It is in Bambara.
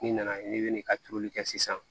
N'i nana n'i bɛ ka turuli kɛ sisan